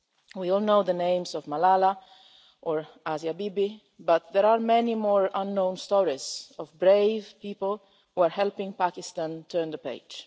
We all know the names of Malala or Asia Bibi, but there are also many more unknown stories of brave people who are helping Pakistan turn the page.